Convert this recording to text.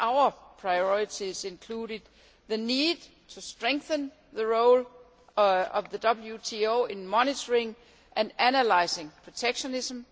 Our priorities included the need to strengthen the role of the WTO in monitoring and analysing protectionism